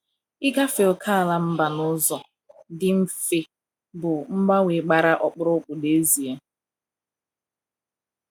Ịgafe ókèala mba n’ụzọ dị mfe bụ mgbanwe gbara ọkpụrụkpụ n’ezie.